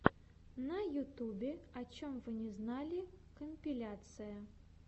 на ютюбе о чем вы не знали компиляция